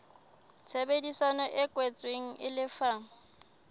tshebedisano e kwetsweng e lefa